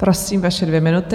Prosím, vaše dvě minuty.